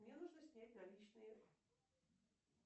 мне нужно снять наличные